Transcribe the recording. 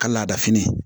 Ka laada fini